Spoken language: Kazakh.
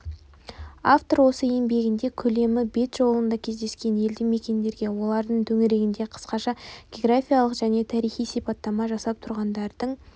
автор осы еңбегінде көлемі бет жолында кездескен елді мекендерге олардың төңірегіне қысқаша географиялық және тарихи сипаттама жасап тұрғындардың